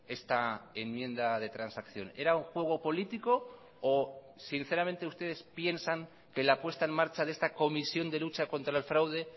esta enmienda de transacción era un juego político o sinceramente ustedes piensan que la puesta en marcha de esta comisión de lucha contra el fraude